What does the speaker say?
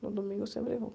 No domingo eu sempre vou.